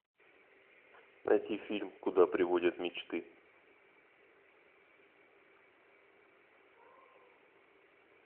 найти фильм куда приводят мечты